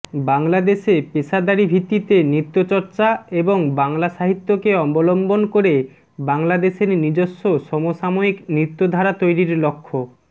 বাংলাদেশে পেশাদারি ভিত্তিতে নৃত্যচর্চা এবং বাংলা সাহিত্যকে অবলম্বন করে বাংলাদেশের নিজস্ব সমসাময়িক নৃত্যধারা তৈরির লক্ষ্য